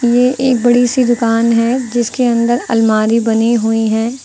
ये एक बड़ी सी दुकान है जिसके अंदर अलमारी बनी हुई है।